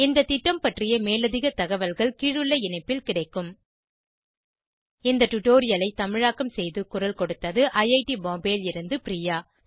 இந்த திட்டம் பற்றிய மேலதிக தகவல்கள் கீழுள்ள இணைப்பில் கிடைக்கும் httpspoken tutorialorgNMEICT Intro இந்த டுடோரியலை தமிழாக்கம் செய்து குரல் கொடுத்தது ஐஐடி பாம்பேவில் இருந்து பிரியா